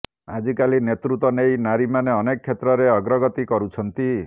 ଆଜିକାଲି ନେତୃତ୍ୱ ନେଇ ନାରୀମାନେ ଅନେକ କ୍ଷେତ୍ରରେ ଅଗ୍ରଗତି କରୁଛନ୍ତି